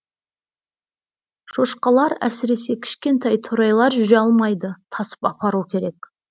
шошқалар әсіресе кішкентай торайлар жүре алмайды тасып апару керек